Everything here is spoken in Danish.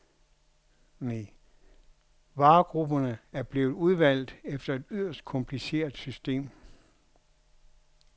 Varegrupperne er blevet udvalgt efter et yderst kompliceret system.